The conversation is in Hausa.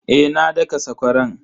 Eh na daka sakwaran.